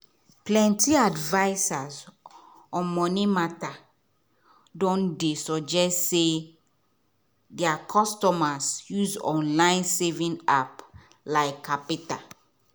plenty advisors on money matter don dey suggest say their customers use online saving appl like qapital